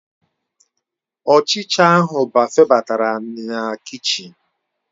Ọchịcha ahụ febatara na kichin.